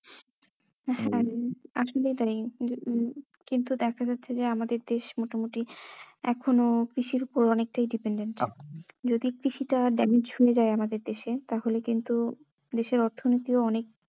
হ্যাঁ আসলেই তাই উম কিন্তু দেখা যাচ্ছে যে আমাদের দেশ মোটামোটি এখনো কৃষির ওপর অনেকেটাই dependent যদি কৃষিটা damage হয়ে যাই আমাদের দেশে তাহলে কিন্তু দেশের অর্থনীতিও অনেক